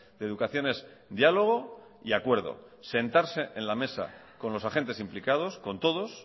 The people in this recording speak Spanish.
de educación es diálogo y acuerdo sentarse en la mesa con los agentes implicados con todos